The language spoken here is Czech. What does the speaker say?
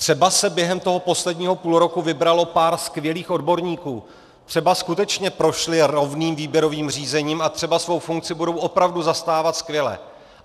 Třeba se během toho posledního půlroku vybralo pár skvělých odborníků, třeba skutečně prošli rovným výběrovým řízením a třeba svou funkci budou opravdu zastávat skvěle.